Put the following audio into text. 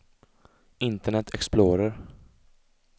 internet explorer